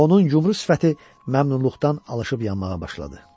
Və onun yumru sifəti məmnunluqdan alışyıb yanmağa başladı.